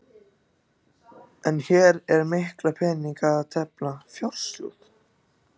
En hér er um mikla peninga að tefla, fjársjóð!